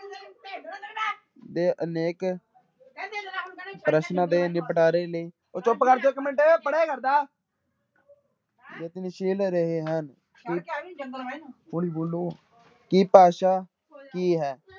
ਦੇ ਅਨੇਕ ਪ੍ਰਸ਼ਨਾਂ ਦੇ ਨਿਪਟਾਰੇ ਲਈ, ਉਹ ਚੁੱਪ ਕਰ ਜਾਓ ਇੱਕ ਪੜ੍ਹਿਆ ਕਰਦਾ ਯਤਨਸ਼ੀਲ ਰਹੇ ਹਨ ਹੌਲੀ ਬੋਲੋ ਕਿ ਭਾਸ਼ਾ ਕੀ ਹੈ,